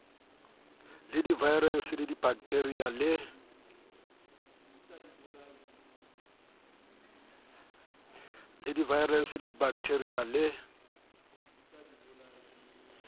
le divaerase dibakethiria le c